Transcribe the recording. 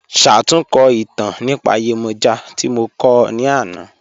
Ṣátùnkọ́ itàn nípa Yemoja tí mo kọ̀ ọ́ ní ànà.